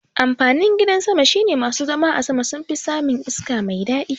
Amfanin gidan sama shine masu zama a sama sunfi samun iska mai daɗi